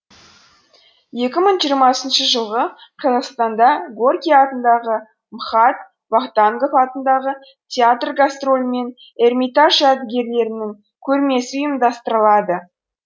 екі мың жиырмасыншы жылғы қазақстанда горький атындағы мхат вахтангов атындағы театр гастролі мен эрмитаж жәдігерлерінің көрмесі ұйымдастырылады